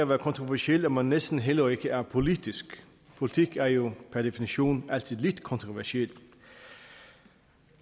være kontroversiel at man næsten heller ikke er politisk politik er jo per definition altid lidt kontroversiel